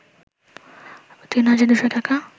৩ হাজার ২শ’ টাকা